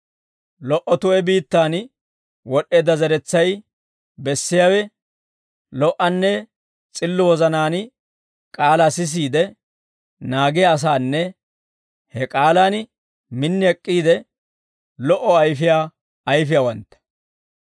Lo"o tu'e biittaan wod'eedda zeretsay bessiyaawe, lo"anne s'illo wozanaan k'aalaa sisiide naagiyaa asaanne he k'aalaan min ek'k'iide lo"o ayfiyaa ayfiyaawantta.